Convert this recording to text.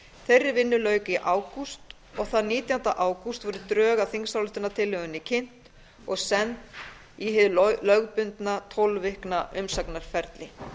þeirri vinnu lauk í ágúst og þann nítjánda ágúst voru drög að þingsályktunartillögunni kynnt og send í hið lögbundna tólf aukna umsagnarferli